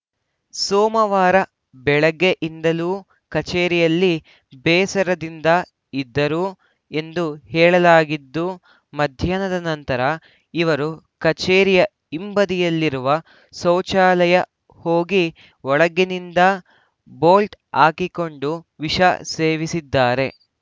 ಸೋಮವಾರ ಬೆಳಗ್ಗೆಯಿಂದಲೂ ಕಚೇರಿಯಲ್ಲಿ ಬೇಸರದಿಂದ ಇದ್ದರು ಎಂದು ಹೇಳಲಾಗಿದ್ದು ಮಧ್ಯಾಹ್ನದ ನಂತರ ಇವರು ಕಚೇರಿಯ ಹಿಂಬದಿಯಲ್ಲಿರುವ ಶೌಚಾಲಯ ಹೋಗಿ ಒಳಗಿನಿಂದ ಬೋಲ್ಟ್‌ ಹಾಕಿಕೊಂಡು ವಿಷ ಸೇವಿಸಿದ್ದಾರೆ